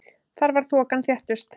Þar var þokan þéttust.